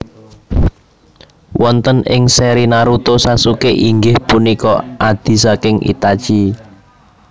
Wonten ing seri Naruto Sasuke inggih punika adhi saking Itachi